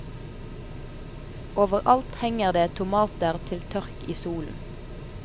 Over alt henger det tomater til tørk i solen.